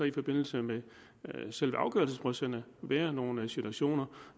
i forbindelse med selve afgørelsesdrøftelserne være nogle situationer